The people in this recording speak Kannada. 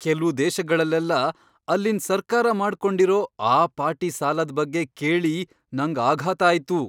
ಕೆಲ್ವು ದೇಶಗಳಲ್ಲೆಲ್ಲ ಅಲ್ಲಿನ್ ಸರ್ಕಾರ ಮಾಡ್ಕೊಂಡಿರೋ ಆ ಪಾಟಿ ಸಾಲದ್ ಬಗ್ಗೆ ಕೇಳಿ ನಂಗ್ ಆಘಾತ ಆಯ್ತು.